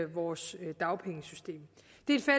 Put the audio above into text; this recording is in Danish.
vores dagpengesystem